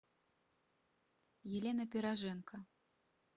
елена пироженко